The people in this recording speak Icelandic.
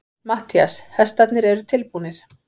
MATTHÍAS: Hestarnir eru tilbúnir.